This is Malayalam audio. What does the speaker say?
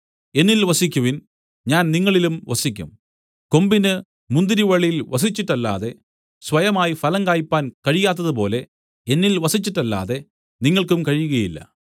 എന്നിൽ വസിക്കുവിൻ ഞാൻ നിങ്ങളിലും വസിക്കും കൊമ്പിന് മുന്തിരിവള്ളിയിൽ വസിച്ചിട്ടല്ലാതെ സ്വയമായി ഫലം കായ്പാൻ കഴിയാത്തതുപോലെ എന്നിൽ വസിച്ചിട്ടല്ലാതെ നിങ്ങൾക്കും കഴിയുകയില്ല